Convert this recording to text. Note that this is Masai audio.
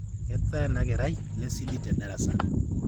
Ketaa ana kerai lesidi tedarasa